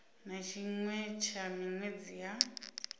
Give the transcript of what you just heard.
na tshiṅwe tsha miṅwedzi ya